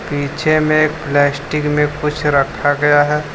पीछे में प्लास्टिक में कुछ रखा गया है।